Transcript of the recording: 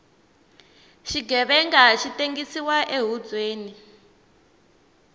xighevenga xi tengsiwa ehubyeni